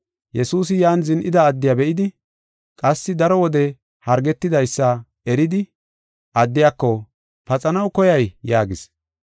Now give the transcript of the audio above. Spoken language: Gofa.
Yesuusi yan zin7ida addiya be7idi, qassi daro wode hargetidaysa eridi addiyako, “Paxanaw koyay?” yaagis.